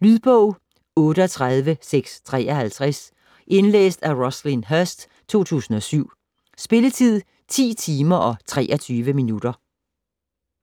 Lydbog 38653 Indlæst af Roslyn Herst, 2007. Spilletid: 10 timer, 23 minutter.